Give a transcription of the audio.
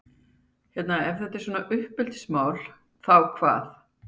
En hérna ef þetta er ekki svona uppeldismál, þá hvað?